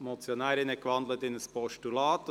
Die Motionärin hat in ein Postulat gewandelt.